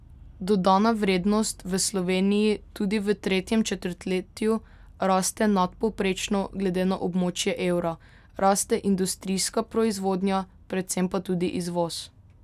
Dodana vrednost v Sloveniji tudi v tretjem četrtletju raste nadpovprečno glede na območje evra, raste industrijska proizvodnja, predvsem pa tudi izvoz.